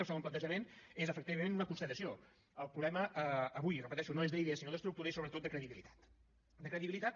el segon plantejament és efectivament una constatació el problema avui ho repeteixo no és d’idea sinó d’estructura i sobretot de credibilitat de credibilitat